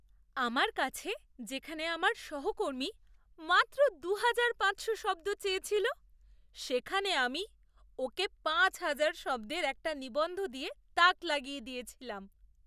আমার কাছে যেখানে আমার সহকর্মী মাত্র দুহাজার পাঁচশো শব্দ চেয়েছিল সেখানে আমি ওকে পাঁচ হাজার শব্দের একটা নিবন্ধ দিয়ে তাক লাগিয়ে দিয়েছিলাম।